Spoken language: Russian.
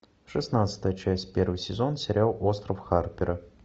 шестнадцатая часть первый сезон сериал остров харпера